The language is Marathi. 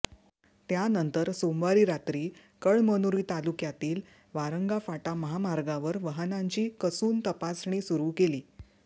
त्यानंतर सोमवारी रात्री कळमनुरी तालुक्यातील वारंगा फाटा महामार्गावर वाहनांची कसून तपासणी सुरू केली